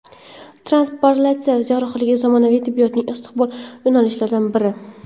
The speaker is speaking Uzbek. Transplantatsiya jarrohligi zamonaviy tibbiyotning istiqbolli yo‘nalishlaridan biri.